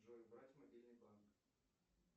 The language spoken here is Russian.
джой убрать мобильный банк